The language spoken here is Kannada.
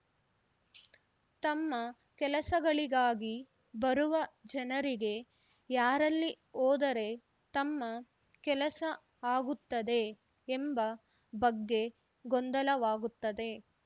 ತಮ್ಮ ಕೆಲಸಗಳಿಗಾಗಿ ಬರುವ ಜನರಿಗೆ ಯಾರಲ್ಲಿ ಹೋದರೆ ತಮ್ಮ ಕೆಲಸ ಆಗುತ್ತದೆ ಎಂಬ ಬಗ್ಗೆ ಗೊಂದಲವಾಗುತ್ತದೆ